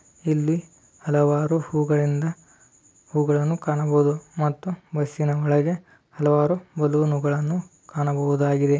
ಇಲ್ಲಿ ಹಲವಾರು ಹೂ ಗಳಿಂದ ಹೂಗಳನ್ನು ಕಾನಬಹುದು . ಮತ್ತು ಬಸ್ಸಿನ ಒಳಗೆ ಹಲವಾರು ಬಲೂನ್ ಗಳನ್ನೂ ಕಾಣಬಹುದಾಗಿದೆ .